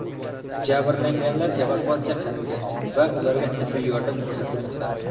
Jabrlanganlar evakuatsiya qilingan va ularga tibbiy yordam ko‘rsatilmoqda.